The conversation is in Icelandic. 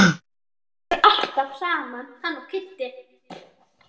Þeir eru alltaf saman hann og Kiddi.